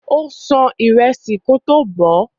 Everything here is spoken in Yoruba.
Ó ṣan ìrẹsì náà kótó bọ̀ọ́.